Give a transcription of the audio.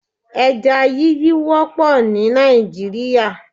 Eja yíyí wópò ní Nàìjíríà